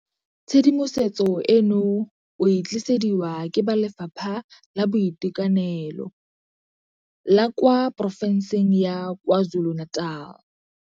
Tshedimosetso eno o e tlisediwa ke ba Lefapha la Boitekanelo la kwa Porofenseng ya KwaZulu-Natal.